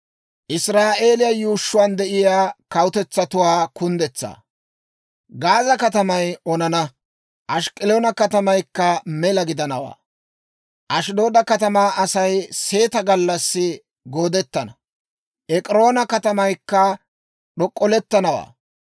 Gaaza katamay onana; Ask'k'aloona katamaykka mela gidanawaa; Ashddooda katamaa Asay seeta gallassi goodettana; Ek'iroona katamaykka d'ok'k'olettanawaa.